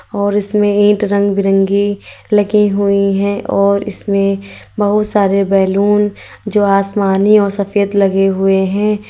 और इसमें ईटी रंग बिरंगी लगी हुई हैं और इसमें बहुत सारे बैलून जो आसमानी और सफेद लगे हुए हैं।